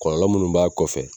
Kɔlɔlɔ munnu b'a kɔfɛ